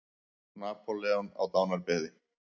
Napóleon á dánarbeði.